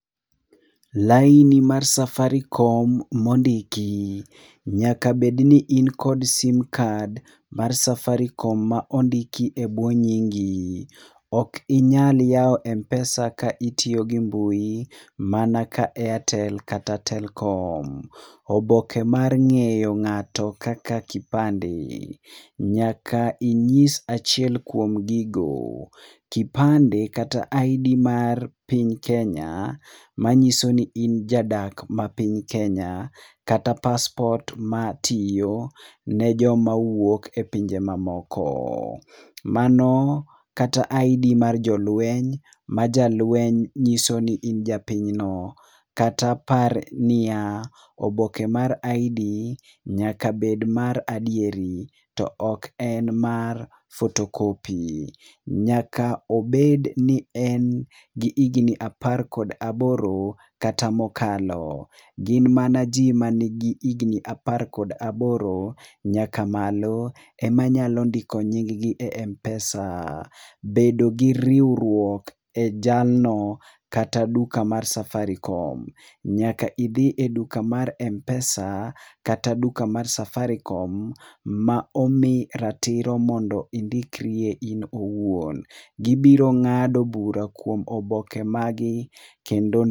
Laini mar Safaricom mondiki: nyaka bed ni in kod sim card mar Safaricom ma ondiki ebwo nyingi. Ok inya yawo Mpesa ka itiyo gi mbui, mana ka Airtel kata Telkom. Oboke mar ng'eyo ng'ato kaka kipande: nyaka inyis achiel kuom gigo. Kipande kata ID mar piny Kenya, manyiso ni in jadak ma piny Kenya kata paspot matiyo ne joma wuok e pinje mamoko. Mano kata ID mar jolweny, ma jalweny nyiso ni in ja pinyno. Kata par niya, oboke mar ID nyaka bed mar adieri, to ok en mar photocopy. Nyaka obed ni en gi higna apar kod aboro, kata mokalo. Gin mana ji man gi higni apar kod aboro nyaka malo, emanyalo ndiko nying gi e Mpesa. Bedo gi riwruok e jalno kata duka mar Safaricom. Nyaka idhi e duka mar Mpesa, kata duka mar Safaricom ma omi ratiro mondo indikrie in owuon. Gibiro ng'ado bura kuom oboke magi, kendo.